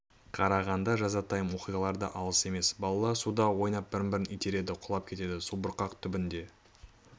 қарағанда жазатайым оқиғалар да алыс емес балалар суда ойнап бір-бірін итереді құлап кетіп субұрқақ түбінде